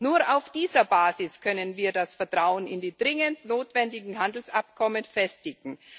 Nur auf dieser Basis können wir das Vertrauen in die dringend notwendigen Handelsabkommen festigen.